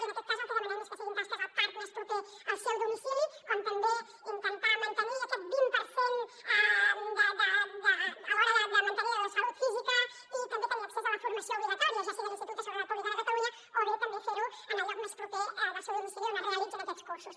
i en aquest cas el que demanem és que siguin tasques al parc més proper al seu domicili com també intentar mantenir aquest vint per cent a l’hora de mantenir la salut física i també tenir accés a la formació obligatòria ja sigui a l’institut de segu·retat pública de catalunya o bé també fer·ho en el lloc més proper al seu domicili on es realitzin aquests cursos